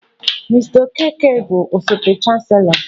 Mr okeke bụ osote chancelọ